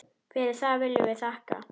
Fyrir það viljum við þakka.